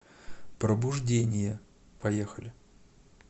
пробуждение поехали